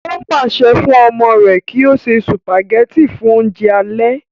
ó pàṣẹ fún ọmọ rẹ̀ kí ó ṣe sùpàgẹ́tì fún oúnjẹ alẹ́